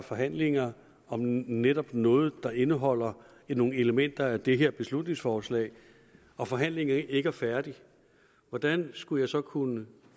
forhandlinger om netop noget der indeholder nogle elementer af det her beslutningsforslag og forhandlingerne ikke er færdige hvordan skulle jeg så kunne